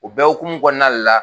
U bɛ hukumu kɔnɔna la.